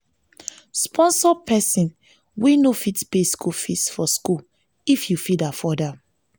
sponsor persin wey no fit pay school fees for school if you fit afford am